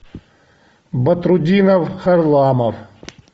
батрутдинов харламов